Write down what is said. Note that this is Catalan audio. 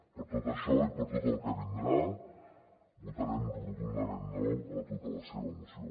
per tot això i per tot el que vindrà votarem rotundament no a tota la seva moció